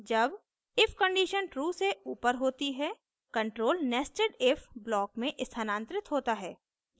जब if condition true से ऊपर होती है control nested if block में स्थानांतरित होता है